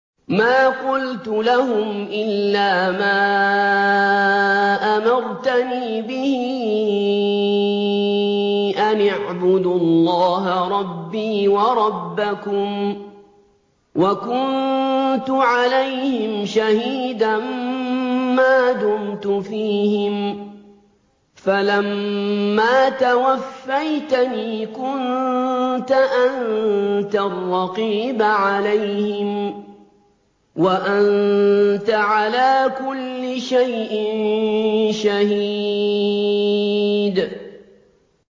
مَا قُلْتُ لَهُمْ إِلَّا مَا أَمَرْتَنِي بِهِ أَنِ اعْبُدُوا اللَّهَ رَبِّي وَرَبَّكُمْ ۚ وَكُنتُ عَلَيْهِمْ شَهِيدًا مَّا دُمْتُ فِيهِمْ ۖ فَلَمَّا تَوَفَّيْتَنِي كُنتَ أَنتَ الرَّقِيبَ عَلَيْهِمْ ۚ وَأَنتَ عَلَىٰ كُلِّ شَيْءٍ شَهِيدٌ